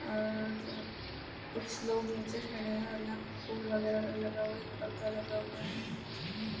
और कुछ लोग निचे खड़े हैं और यहाँ फूल वगैरा लगा हुआ है | एक पर्दा लगा हुआ है |